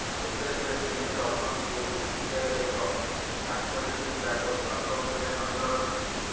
ତେବେ ସେ ଟିମ୍ରେ ଅଛନ୍ତି ଓ ବିସିସିଆଇର ଏକ ଡାକ୍ତରୀ ଟିମ୍ ତାଙ୍କ ସ୍ୱାସ୍ଥ୍ୟ ଉପରେ ନଜର ରଖିଛି